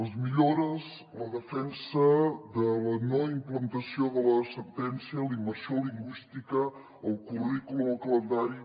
les millores la defensa de la no implantació de la sentència la immersió lingüística el currículum el calendari